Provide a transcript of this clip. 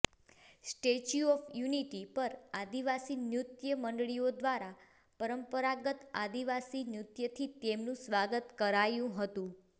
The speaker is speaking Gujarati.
સ્ટેચ્યૂ ઓફ યુનિટી પર આદિવાસી નૃત્ય મંડળીઓ દ્વારા પરંપરાગત આદિવાસી નૃત્યથી તેમનું સ્વાગત કરાયુ હતું